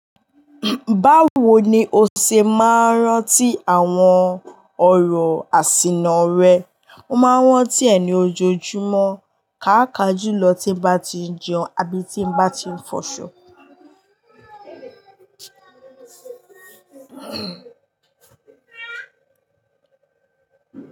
Báwo ni o ṣe máa ń rántí àwọn ọ̀rọ̀ àsìnà rẹ? Mo máa ń rántí ẹe ni ojoojúmọ́, ká akajú lọ tí n bá ti jẹun àbí tí n bá ti ń fọṣọ.